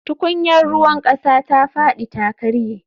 Tukunyar ruwan kasa ta fadi ta karye